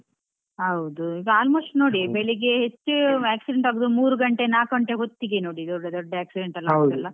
ಹೌದು ಈಗ almost ನೋಡಿ ಬೆಳಿಗ್ಗೆ ಹೆಚ್ಚು accident ಆಗೋದು ಮೂರು ಗಂಟೆ, ನಾಲ್ಕು ಗಂಟೆ ಹೊತ್ತಿಗೆ ನೋಡಿ ದೊಡ್ಡ ದೊಡ್ಡ accident ಎಲ್ಲ ಆಗೋದೆಲ್ಲ.